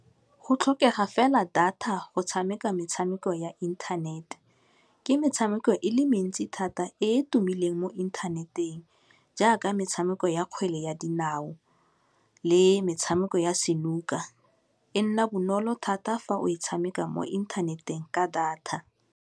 Go tlhokega fela data go tshameka metshameko ya inthanete, ke metshameko e le mentsi thata e e tumileng mo inthaneteng jaaka metshameko ya kgwele ya dinao le metshameko ya senuka, e nna bonolo thata fa o e tshameka mo inthaneteng ka data.